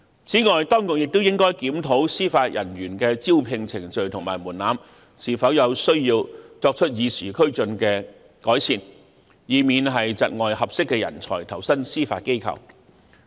此外，當局亦應檢討司法人員的招聘程序和門檻，看看是否有需要作出與時俱進的改善，以免窒礙合適的人才投身司法機構。